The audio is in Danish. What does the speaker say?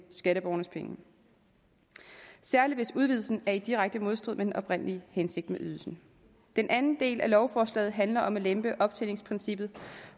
skatteborgernes penge og særlig hvis udvidelsen er i direkte modstrid med den oprindelige hensigt med ydelsen den anden del af lovforslaget handler om at man lemper optjeningsprincippet